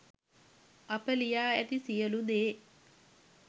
අප ලියා ඇති සියළු දේ